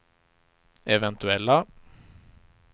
eventuella